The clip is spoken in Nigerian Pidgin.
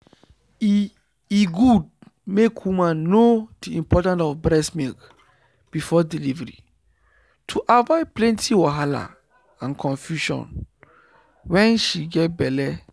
e e good make woman know the important of breast milk before delivery to avoid plenty wahala and confusion wen she get belle